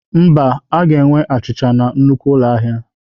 Mba, a ga-enwe achịcha na nnukwu ụlọ ahịa.